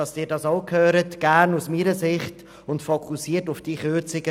Damit Sie es auch hören, fasse ich Ihnen die Aussagen gerne aus meiner Sicht zusammen.